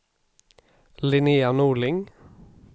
Linnéa Norling